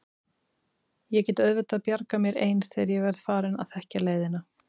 Ég get auðvitað bjargað mér ein þegar ég verð farin að þekkja leiðina.